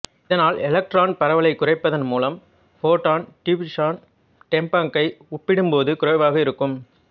இதனால் எலக்ட்ரான் பரவலைக் குறைப்பதன் மூலம் ஃபாடோன் டிஃப்யூஷன் டேம்பங்கை ஒப்பிடும் போது குறைவாக இருக்கும்